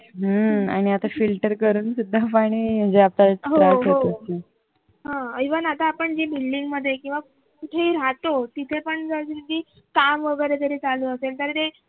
हम्म आणि आता filter करून सुद्धा पाणी म्हणजे आता त्रास होतोय